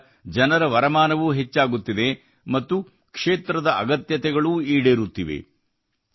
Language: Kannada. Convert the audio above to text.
ಇದರಿಂದ ಜನರ ವರಮಾನವೂ ಹೆಚ್ಚಾಗುತ್ತಿದೆ ಮತ್ತು ಕ್ಷೇತ್ರದ ಅಗತ್ಯತೆಗಳೂ ಈಡೇರುತ್ತಿವೆ